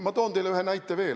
Ma toon teile ühe näite veel.